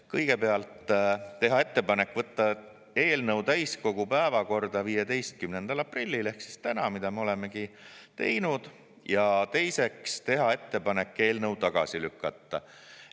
Kõigepealt teha ettepanek võtta eelnõu täiskogu päevakorda 15. aprillil ehk siis täna, mida me olemegi teinud, ja teiseks teha ettepanek eelnõu tagasi lükata.